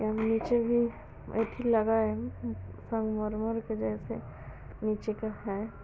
यहाँ नीचे भी एथी लगा है संगमरमर के जैसे नीचे का है।